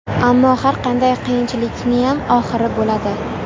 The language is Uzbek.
Ammo har qanday qiyinchilikniyam oxiri bo‘ladi.